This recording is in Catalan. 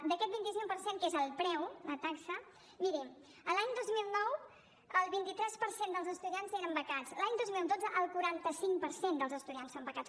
d’aquest vint cinc per cent que és el preu la taxa miri l’any dos mil nou el vint tres per cent dels estudiants eren becats l’any dos mil dotze el quaranta cinc per cent dels estudiants són becats